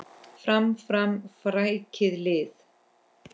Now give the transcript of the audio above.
Fram, fram, frækið lið!